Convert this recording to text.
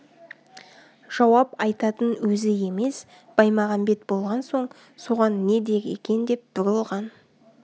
жауап айтатын өзі емес баймағамбет болған соң соған не дер екен деп бұрылған